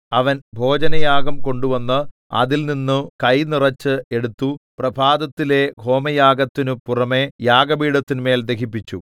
അവൻ ഭോജനയാഗം കൊണ്ടുവന്ന് അതിൽ നിന്നു കൈനിറച്ച് എടുത്തു പ്രഭാതത്തിലെ ഹോമയാഗത്തിനു പുറമെ യാഗപീഠത്തിന്മേൽ ദഹിപ്പിച്ചു